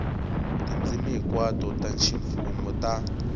tindzimi hinkwato ta ximfumo ta